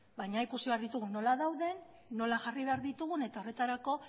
baina ikusi behar ditugu nola dauden nola jarri behar ditugun eta horretarako